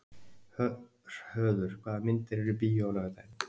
Höður, hvaða myndir eru í bíó á laugardaginn?